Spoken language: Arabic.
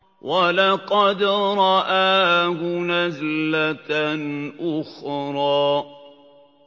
وَلَقَدْ رَآهُ نَزْلَةً أُخْرَىٰ